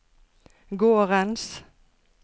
gårdens